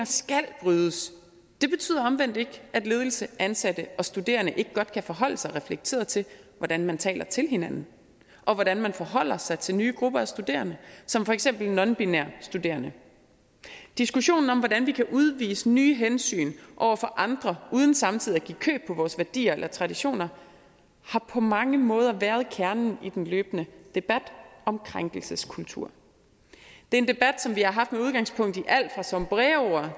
det betyder omvendt ikke at ledelse ansatte og studerende ikke godt kan forholde sig reflekteret til hvordan man taler til hinanden og hvordan man forholder sig til nye grupper af studerende som for eksempel nonbinære studerende diskussionen om hvordan vi kan udvise nye hensyn over for andre uden samtidig at give køb på vores værdier eller traditioner har på mange måder været kernen i den løbende debat om krænkelseskultur det er en debat som vi har haft med udgangspunkt i alt fra sombreroer